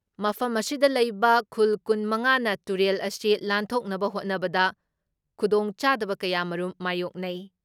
ꯃꯐꯝ ꯑꯁꯤꯗ ꯂꯩꯕ ꯈꯨꯜ ꯀꯨꯟ ꯃꯉꯥ ꯅ ꯇꯨꯔꯦꯜ ꯑꯁꯤ ꯂꯥꯟꯊꯣꯛꯅꯕ ꯍꯣꯠꯅꯕꯗ ꯈꯨꯗꯣꯡꯆꯥꯗꯕ ꯀꯌꯥꯃꯔꯨꯝ ꯃꯥꯌꯣꯛꯅꯩ ꯫